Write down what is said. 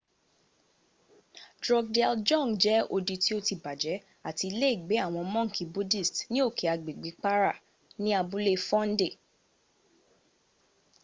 drukgyal dzong jẹ́ odi tí ó ti bàjẹ́ àti iléègbé àwọn mọ́ǹkì buddhist ní òkè agbègbè para ní abúlé phondey